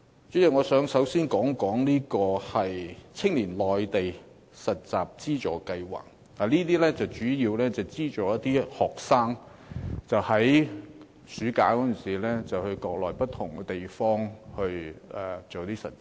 主席，我首先想說一說，青年內地實習資助計劃主要是資助學生在暑假的時候，到國內不同地方實習。